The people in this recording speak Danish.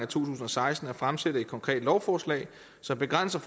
tusind og seksten at fremsætte et konkret lovforslag som begrænser